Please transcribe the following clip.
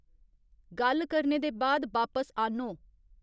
गल्ल करने दे बाद बापस आह्न्नो